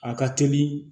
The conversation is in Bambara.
A ka teli